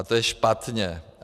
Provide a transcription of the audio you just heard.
A to je špatně.